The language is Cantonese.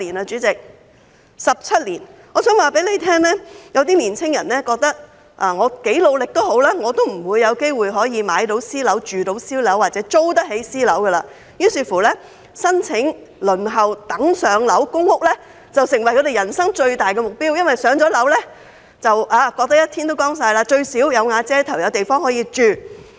主席，是17年。我想告訴你，有些青年人認為無論多努力，也不會有機會買私樓，住私樓或租得起私樓，於是，申請輪候公屋"上樓"便成為他們人生最大的目標，因為"上樓"後便"一天都光晒"，最低限度，"有瓦遮頭"、有地方可以住。